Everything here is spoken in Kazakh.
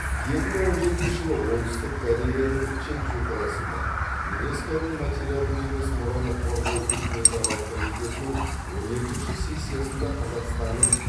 екі мың он жетінші жылы оңтүстік кореяның чеджу қаласында юнеско ның материалдық емес мұраны қорғау үкіметаралық комитетінің он екінші сессиясында қазақстанның